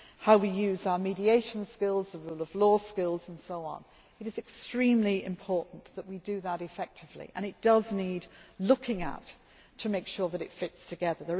how we use our mediation skills and rule of law skills and so on. It is extremely important that we do that effectively and it does need looking at to make sure that it fits together.